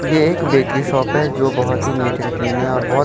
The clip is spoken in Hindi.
ये एक बेकरी शॉप है जो बहुत ही नीट एंड क्लीन है और बहुत--